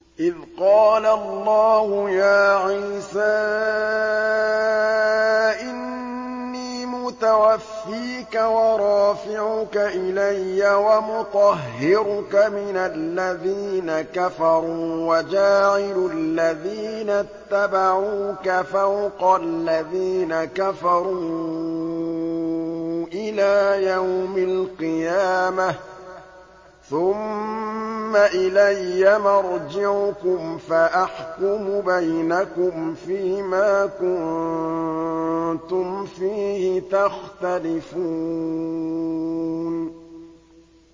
إِذْ قَالَ اللَّهُ يَا عِيسَىٰ إِنِّي مُتَوَفِّيكَ وَرَافِعُكَ إِلَيَّ وَمُطَهِّرُكَ مِنَ الَّذِينَ كَفَرُوا وَجَاعِلُ الَّذِينَ اتَّبَعُوكَ فَوْقَ الَّذِينَ كَفَرُوا إِلَىٰ يَوْمِ الْقِيَامَةِ ۖ ثُمَّ إِلَيَّ مَرْجِعُكُمْ فَأَحْكُمُ بَيْنَكُمْ فِيمَا كُنتُمْ فِيهِ تَخْتَلِفُونَ